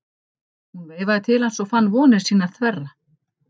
Hún veifaði til hans og hann fann vonir sínar þverra.